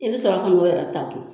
I bɛ sɔrɔ ta kɛ